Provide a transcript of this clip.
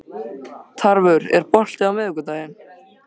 Tarfur, er bolti á miðvikudaginn?